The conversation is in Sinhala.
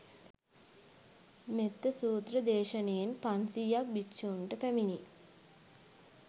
මෙත්ත සූත්‍ර දේශනයෙන්, පන්සියයක් භික්‍ෂූන්ට පැමිණි